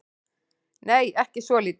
Nei, ekki svolítið.